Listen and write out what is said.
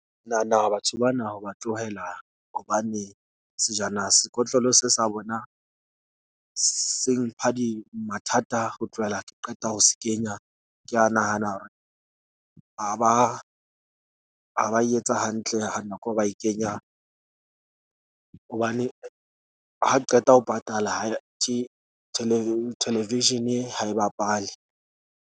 Ke nahana hore batho bana ho ba tlohela hobane sejana sekotlolo se sa bona se mpha di mathata, ho tlohela ke qeta ho se kenya. Ke a nahana hore ha ba e etsa hantle ha nako eo ba e kenya, hobane ha ke qeta ho patala ha television-e ha e bapale.